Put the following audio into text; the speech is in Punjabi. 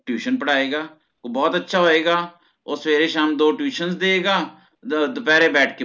tution ਪੜ੍ਹਾਏਗਾ ਬੋਹੋਤ ਅੱਛਾ ਹੋਏਗਾ ਓਹ ਸਵੇਰੇ ਸ਼ਾਮ ਦੋ tuition ਦੇਗਾ ਦੁ ਦੁਪੈਰੇ ਬਹ ਕੇ